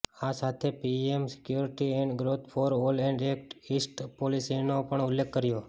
આ સાથે પીએમએ security and growth for all અને એક્ટ ઈસ્ટ પોલિસીનો પણ ઉલ્લેખ કર્યો